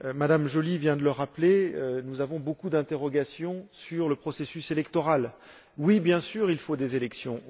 Mme Joly vient de le rappeler, nous avons beaucoup d'interrogations quant au processus électoral. Oui, bien sûr, il faut des élections.